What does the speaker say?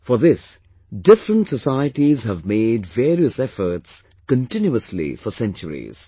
For this, different societies have madevarious efforts continuously for centuries